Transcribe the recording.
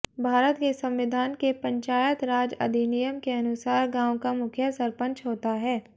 भारत के संविधान के पंचायत राज अधिनियम के अनुसार गाँव का मुखिया सरपंच होता है